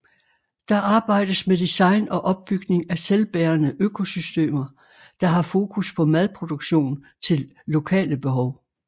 Der arbejdes med design og opbygning af selvbærende økosystemer der har fokus på madproduktion til lokale behov